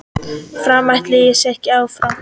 Framarar ætla sér áfram